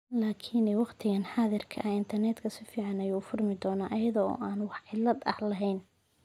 Laakin wakhtigan xaadirka ah internetku si fiican ayuu u furmayaa iyada oo aan wax cillad ah lahayn.